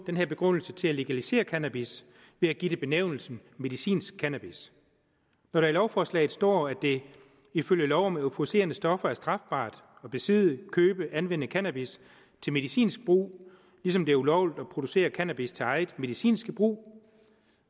den her begrundelse til at legalisere cannabis ved at give det benævnelsen medicinsk cannabis når der i lovforslaget står at det ifølge lov om euforiserende stoffer er strafbart at besidde købe og anvende cannabis til medicinsk brug ligesom det er ulovligt at producere cannabis til eget medicinsk brug